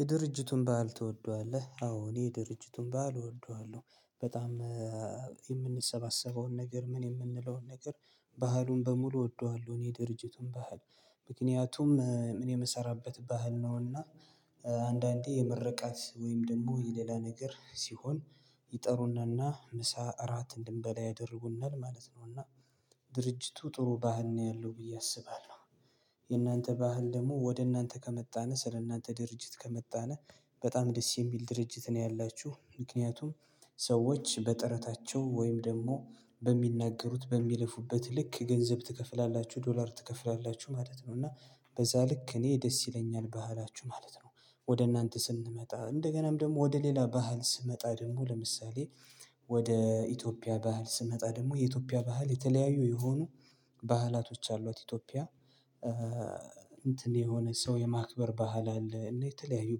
የድርጅቱን በዓል ትወደዋለህ? አዎ እኔ የድርጅቱን ባህል እወደዋለሁ በጣም የምንሰባሰበውን ነገር ምን የምንለውን ነገር ባህሉን በሙሉ እወደዋለሁ። እኔ ድርጅቱን ባህል ምክንያቱም እኔ የምሰራበት ባህል ነውና አንዳንዴ የመረቃት ወይም ደግሞ የሌላ ነገር ሲሆን ይጠሩናልና ምሳ እራት እንድንበላ ያደርጉናል ማለት ነውና ድርጅቱ ጥሩ ባህል ነው ያለው ብዬ አስባለሁ። የእናንተ ባህል ደግሞ ወደ እናንተ ከመጣን ስለ እናንተ ድርጅት ከመጣንነ በጣም ደስ የሚል ድርጅት ነው ያላችሁ። ምክንያቱም ሰዎች በጥረታቸው ወይም ደግሞ በሚናገሩት በሚለፉበት ልክ ገንዘብ ትከፍላላችሁ ዶላር ትከፍላላችሁ ማለት ነው እና በዛ ልክ እኔ ደስ ይለኛል ባህላችሁ ማለት ነው። ወደ እናንተ ስንመጣ እንደገናም ደግሞ ወደ ሌላ ባህል ስመጣ ደግሞ ለምሳሌ ወደ ኢትዮጵያ ባህል ስመጣ ደግሞ የኢትዮጵያ ባህል የተለያዩ የሆኑ ባህላቶች አሏት ኢትዮጵያ። እንትን የሆነ ሰው የማክበር ባህል አለ የተለያዩ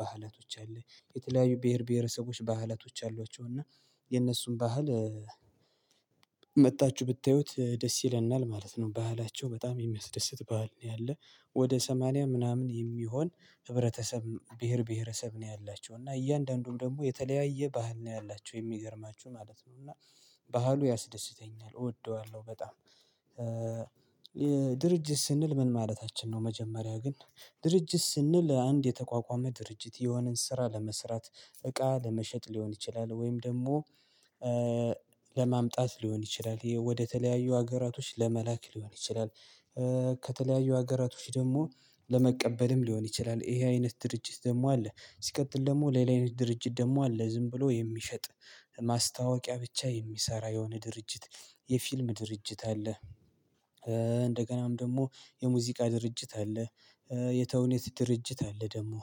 ባህላቶች አሉ። የተለያዩ ብሄር ብሄረሰቦች ባህላቶች አሏቸው። እና የነሱን ባህል ብታዩት ደስ ይለናል ማለት ነው። ባህላቸው በጣም የሚያስደስት ባህል ነው ያለ። ወደ ሰማንያ ምናምን የሚሆን ህብረተሰብ ብሄር ብሄረሰብ ነው ያላቸው እና እያንዳንዱም ደግሞ የተለያየ ባህል ነው ያላችሁ የሚገርማችሁ ማለት ነው እና ባህሉ ያስደስተኛል እወደዋለሁ በጣም። ድርጅት ስንል ምን ማለታችን ነው? መጀመሪያ ግን ድርጅት ስንል አንድ የተቋቋመ ድርጅት የሆነን ስራ ለመስራት እቃ ለመሸጥ ሊሆን ይችላል ወይም ደግሞ ለማምጣት ሊሆን ይችላል ወደተለያዩ ሀገራቶች ለመላክ ሊሆን ይችላል። ከተለያዩ ሀገራቶች ደግሞ ለመቀበልም ሊሆን ይችላል ይሄ አይነት ድርጅት ደግሞ አለ። ሲቀጥል ደግሞ ሌላ አይነት ድርጅት ደግሞ አለ። ዝም ብሎ ማስታወቂያ ብቻ የሚሰራ የሆነ ድርጅት የፊልም ድርጅት አለ። እንደገናም ደግሞ የሙዚቃ ድርጅት አለ። የተውኔት ድርጅት አለ። ደግሞ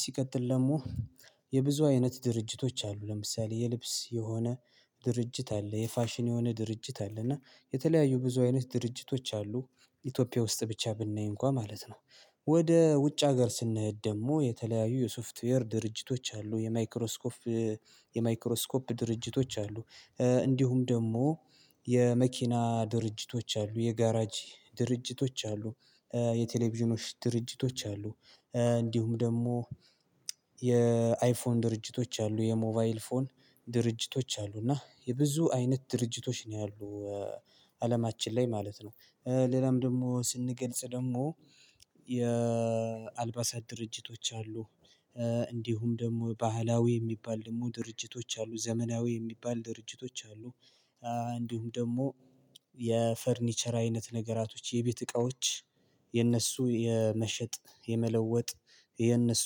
ሲቀጥል ለሙ የብዙ አይነት ድርጅቶች አሉ። ለምሳሌ የልብስ የሆነ ድርጅት አለ የፋሽን የሆነ ድርጅት አለ እና የተለያዩ ብዙ አይነት ድርጅቶች አሉ። ኢትዮጵያ ውስጥ ብቻ ብናይ እንኳን ማለት ነው። ወደ ውጭ ሀገር ስንሄድ ደግሞ የተለያዩ የሶፍትዌር ድርጅቶች አሉ የማይክሮስኮፍ የማይክሮስኮፕ ድርጅቶች አሉ። እንዲሁም ደግሞ የመኪና ድርጅቶች አሉ የጋራጅ ድርጅቶች አሉ። የቴሌቪዥኖች ድርጅቶች አሉ። እንዲሁም ደግሞ የአይፎን ድርጅቶች አሉ የሞባይል ፎን ድርጅቶች አሉ። እና የብዙ አይነት ድርጅቶች ነው ያሉት አለማችን ላይ ማለት ነው። ሌላም ደግሞ ስንገልጽ ደግሞ የአልባሳት ድርጅቶች አሉ። እንዲሁም ደግሞ ባህላዊ የሚባል ደግሞ ድርጅቶች አሉ ዘመናዊ የሚባል ድርጅቶች አሉ። እንዲሁም ደግሞ የፈርኒቸር አይነት ነገራቶች የቤት እቃዎች የነሱ የመሸጥ የመለወጥ የነሱ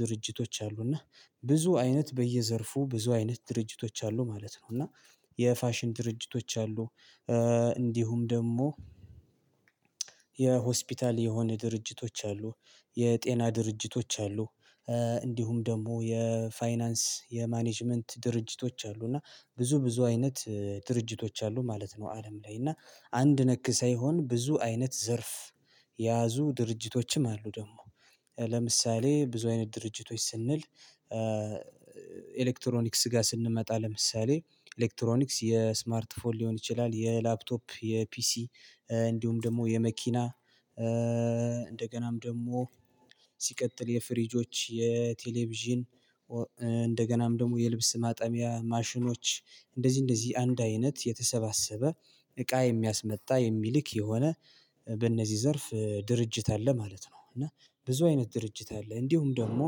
ድርጅቶች አሉ። እና ብዙ አይነት በየዘርፉ ብዙ አይነት ድርጅቶች አሉ ማለት ነው። እና የፋሽን ድርጅቶች አሉ እንዲሁም ደግሞ የሆስፒታል የሆነ ድርጅቶች አሉ የጤና ድርጅቶች አሉ። እንዲሁም ደግሞ የፋይናንስ የማኔጅመንት ድርጅቶች አሉ እና ብዙ ብዙ አይነት ድርጅቶች አሉ ማለት ነው። አለም ላይ እና አንድ ነክ ሳይሆን ብዙ አይነት ዘርፍ የያዙ ድርጅቶችም አሉ። ደግሞ ለምሳሌ ብዙ አይነት ድርጅቶች ስንል ኤሌክትሮኒክስ ጋር ስንመጣ ለምሳሌ ኤሌክትሮኒክስ የስማርት ፎር ሊሆን ይችላል የላፕቶፕ የፒሲ እንዲሁም ደግሞ የመኪና እንደገናም ደግሞ ሲቀጥል የፍሪጆች የቴሌቪዥን እንደገናም ደግሞ የልብስ ማጠሚያ ማሽኖች እንደዚህ እንደዚህ አንድ አይነት የተሰባሰበ እቃ የሚያስመጣ የሚልክ የሆነ በእነዚህ ዘርፍ ድርጅት አለ ማለት ነው። እና ብዙ አይነት ድርጅት አለ። እንዲሁም ደግሞ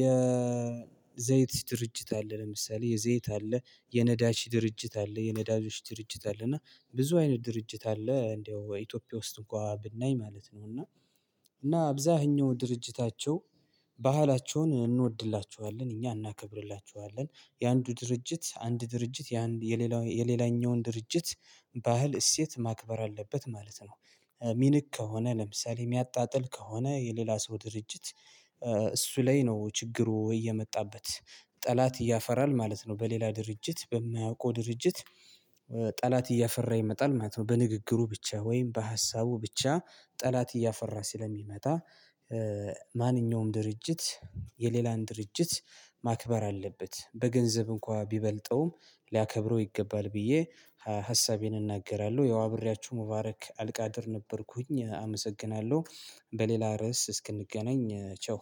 የዘይት ድርጅት አለ። ለምሳሌ የዘይት አለ የነዳጅ ድርጅት አለ የነዳጆች ድርጅት አለ። እና ብዙ አይነት ድርጅት አለ እንደው ኢትዮጵያ ውስጥ እንኳን ብናይ ማለት ነው። እና እና አብዛኛው ድርጅታቸው ባህላቸውን እንወድላችኋለን እኛ እናከብርላችኋለን። የአንዱ ድርጅት አንድ ድርጅት የሌላኛውን ድርጅት ባህል እሴት ማክበር አለበት ማለት ነው። ሚንቅ ከሆነ ለምሳሌ የሚያጣጥል ከሆነ የሌላ ሰው ድርጅት እሱ ላይ ነው ችግሩ ወይ የመጣበት ጠላት እያፈራል ማለት ነው። በሌላ ድርጅት በማያውቀው ድርጅት እያፈራ ይመጣል ማለት ነው። በንግግሩ ብቻ ወይም በሀሳቡ ብቻ ጠላት እያፈራ ስለሚመጣ። ማንኛውም ድርጅት የሌላን ድርጅት ማክበር አለበት በገንዘብ እንኳን ቢበልጠውም ሊያከብረው ይገባል። ብዬ ሀሳቤን እናገራለሁ ያው ብሪያችሁ ሙባረክ አልቃድር ነበርኩኝ አመሰግናለሁ። በሌላ ርዕስ እስክንገናኝ ቸው።